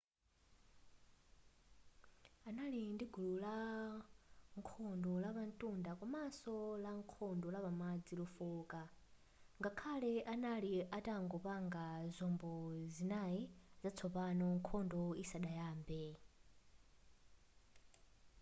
anali ndi gulu lankhondo lapantunda komanso lankhondo lapamadzi lofooka ngakhale anali atangopanga zombo zinayi zatsopano nkhondo isadayambe